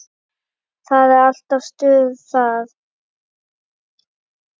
Það er alltaf stuð þar.